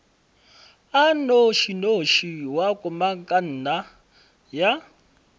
a nnošinoši wa komangkanna ya